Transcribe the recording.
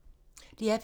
DR P2